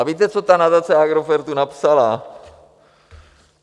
A víte, co ta nadace Agrofertu napsala?